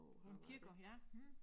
Han kigger ja